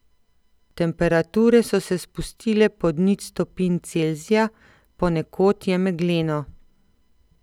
Temperature so se spustile pod nič stopinj Celzija, ponekod je megleno.